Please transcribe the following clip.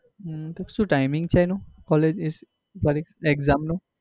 હમ તો શું timing છે એનો કૉલાગે એજ પરીક્ષા exam નો?